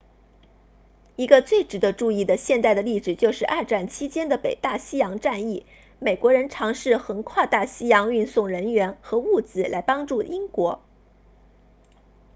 一个最值得注意的现代的例子就是二战期间的北大西洋战役美国人尝试横跨大西洋运送人员和物资来帮助英国